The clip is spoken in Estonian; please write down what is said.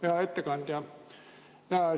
Hea ettekandja!